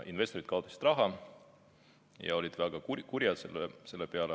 Investorid kaotasid raha ja olid väga kurjad selle peale.